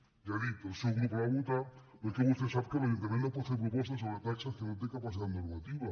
ja ho he dit el seu grup la va votar però és que vostè sap que l’ajuntament no pot fer propostes sobre taxes que no hi té capacitat normativa